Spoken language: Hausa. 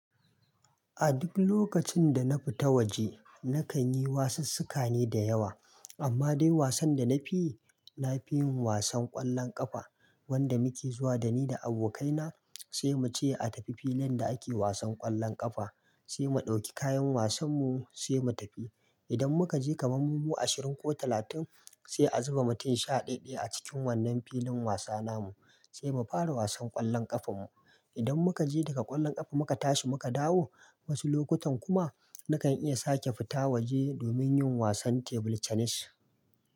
A duk lokacin da na fita waje, na kan yi wasussuka ne da yawa. Amma dai wasan da na fiyi, na fi yin wasan ƙwallon ƙafa. Wanda muke zuwa da ni da abokaina, sai mu ce a tafi filin da ake wasan ƙwallon ƙafa, sai mu ɗauki kayan wasan mu sai mu tafi. Idan muka je kaman mu ashirin ko talatin, sai a zuba mu tin shaɗaɗɗaya a cikin wannan filin wasa namu, sai mu fara wasan ƙwallon ƙafan mu. Idan muka je daga ƙwallon ƙafa muka tashi muka dawo, wasu lokutan kuma na kan iya sake fita waje domin yin wasan table tennis.